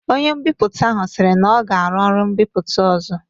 Ọnye mbiputa ahu sịrị n'ọ ga- arụ ụlo mbiputa ọzọ